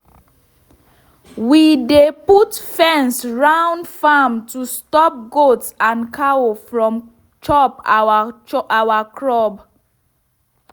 we dey put fence round farm to stop goat and cow from chop our crop.